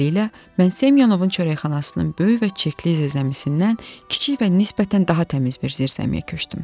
Beləliklə, mən Semyonovun çörəkxanasının böyük və çirkli zirzəmisindən kiçik və nisbətən daha təmiz bir zirzəmiyə köçdüm.